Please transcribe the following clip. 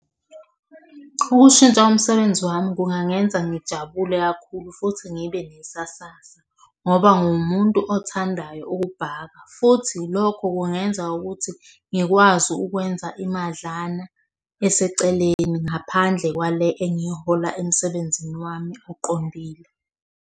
Ukushintsha umsebenzi wami kungangenza ngijabule kakhulu futhi ngibe nesasasa ngoba nguwumuntu othandayo ukubhaka, futhi lokho kungenza ukuthi ngikwazi ukwenza imadlana eseceleni ngaphandle kwale engihola emsebenzini wami oqondile.